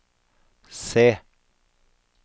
se